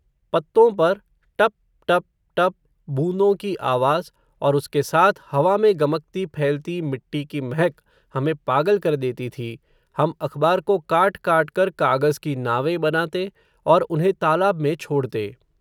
पत्तों पर, टप टप टप, बूंदों की आवाज़, और उसके साथ, हवा में गमकती फैलती मिट्टी की महक, हमें पागल कर देती थी, हम अख़बार को काट काट कर, कागज़ की नावें बनाते, और उन्हें तालाब में छोड़ते